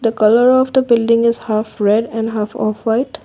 the colour of the building is half red and half of white.